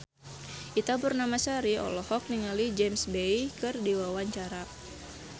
Ita Purnamasari olohok ningali James Bay keur diwawancara